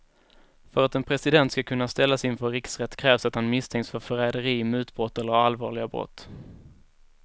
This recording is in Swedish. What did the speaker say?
För att en president ska kunna ställas inför riksrätt krävs att han misstänks för förräderi, mutbrott eller allvarliga brott.